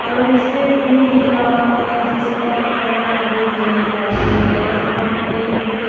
और स्टेज भी दिख रहा है जिसका कलर हरे कलर का है और वहा पे हमें --